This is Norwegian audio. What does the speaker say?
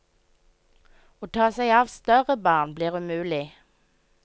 Å ta seg av større barn blir umulig.